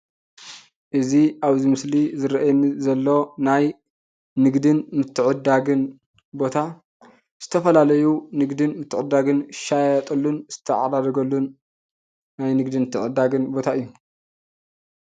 እዚ ኣብ ምስሊ ዝረአየኒ ዘሎ ናይ ንግድን ምትዕድዳግን ቦታ ዝተፈላለዩ ንግድን ምትዕድዳግን ዝሻየጥሉን ዝታዓዳደግሉን ናይ ንግድን ምትዕድዳግን ቦታ እዩ።